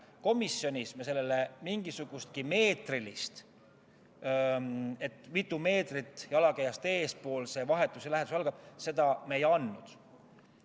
Komisjonis me sellele mingisugust meetrilist mõõdet – mitu meetrit jalakäijast eespool vahetu lähedus algab – ei andnud.